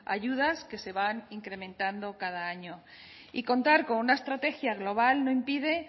ayudas que se van incrementando cada año y contar con una estrategia global no impide